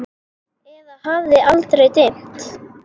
Eða hafði aldrei dimmt?